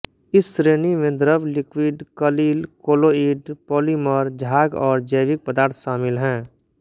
इस श्रेणी में द्रव लिक्विड कलिल कोलोइड पॉलीमर झाग और जैविक पदार्थ शामिल हैं